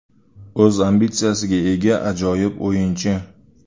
U o‘z ambitsiyasiga ega ajoyib o‘yinchi.